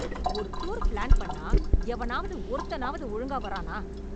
ஒரு tour plan பண்ணா எவனாவது ஒருத்தனாவது ஒழுங்கா வர்றான ?